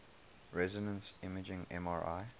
resonance imaging mri